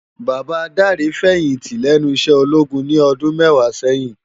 Baba Dare fèyinti lènú iṣè ólógún ni òdùn mèwá sèyin